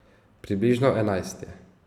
Približno enajst je.